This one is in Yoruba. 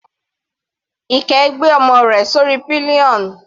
Ike gbé ọmọ rẹ̀ sórí pillion.